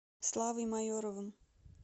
славой майоровым